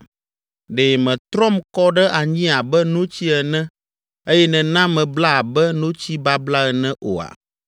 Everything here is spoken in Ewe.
Ɖe mètrɔm kɔ ɖe anyi abe notsi ene eye nèna mebla abe notsi babla ene oa?